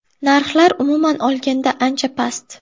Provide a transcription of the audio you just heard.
Narxlar, umuman olganda, ancha past.